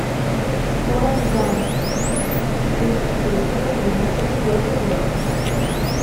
форрест гамп тысяча девятьсот девяносто четвертый год